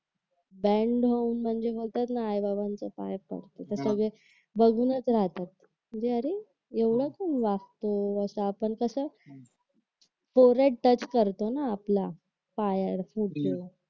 band होऊन म्हणजे बोलतात ना आई बाबांच्या पाया पडते तर सगळे बघतच राहतात म्हणजे अरे एवढं कोण वाकत म्हणजे आपण कसं फोर हेड टच करतो ना आपला पायावर पुढच्या